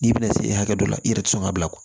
N'i bɛna se hakɛ dɔ la i yɛrɛ tɛ sɔn ka bila ko